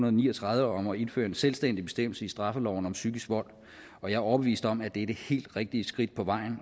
og ni og tredive om at indføre en selvstændig bestemmelse i straffeloven om psykisk vold og jeg er overbevist om at det er det helt rigtige skridt på vejen